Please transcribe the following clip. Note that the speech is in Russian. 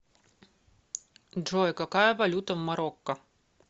джой какая валюта в марокко